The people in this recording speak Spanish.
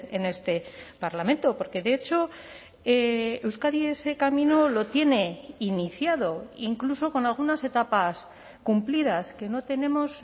en este parlamento porque de hecho euskadi ese camino lo tiene iniciado incluso con algunas etapas cumplidas que no tenemos